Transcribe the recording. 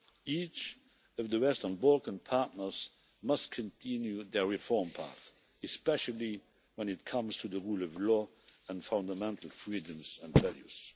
Each of the Western Balkan partners must continue their reform path, especially when it comes to the rule of law and fundamental freedoms and values.